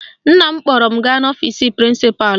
Nna m kpọrọ m gaa n'ọfisi prịnsịpalụ.